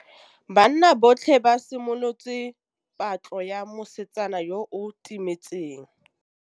Banna botlhê ba simolotse patlô ya mosetsana yo o timetseng.